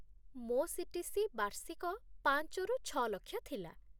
ମୋ ସିଟିସି ବାର୍ଷିକ ପାଞ୍ଚ ରୁ ଛଅ ଲକ୍ଷ ଥିଲା